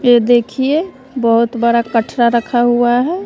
ये देखिए बहुत बड़ा कठरा रखा हुआ है।